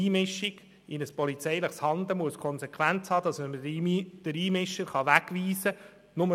Eine Einmischung in polizeiliches Handeln muss die Konsequenz haben, dass man den Einmischer wegweisen kann.